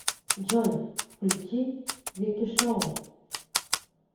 джой включи вики шоу